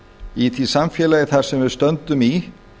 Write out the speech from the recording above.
í því samfélagi þar sem við stöndum í